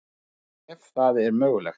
Ef það er mögulegt.